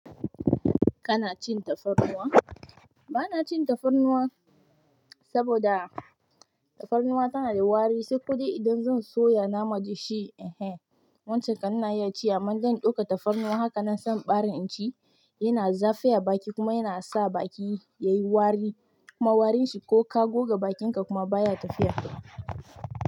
Kana cin tafarnuwa? Ba na cin tafarnuwa saboda tafarnuwa tana da wari, sai kodai idan zan soya nama, da shi eh wancan kan ina iya ci amma zan ɗauka tafarnuwa. Haka nan sa in bare in ci, yana zafi a baki kuma yana sa baki yayi wari kuma warin shi ko ka goga bakinka kuma baya tafiya.